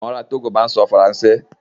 Àwọn ará Togo máa ń sọ Faransé.